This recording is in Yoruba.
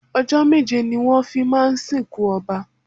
Ọjọ́ méje ni wón fi máa ń sì kún Ọba.